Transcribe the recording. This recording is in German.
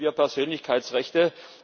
Wie schützen wir Persönlichkeitsrechte?